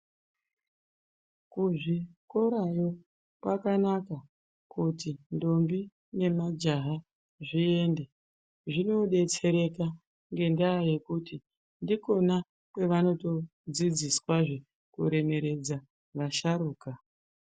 Kuzvikorayo kwakanaka kuti ndombi nemajaha zviende zvinodetsereka ngendayekuti ndikona kwanotodzidziswa kuremeredza vasharuka.